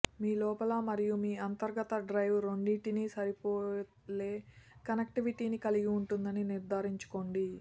మీ లోపల మరియు మీ అంతర్గత డ్రైవ్ రెండింటినీ సరిపోలే కనెక్టివిటీని కలిగి ఉందని నిర్ధారించుకోండి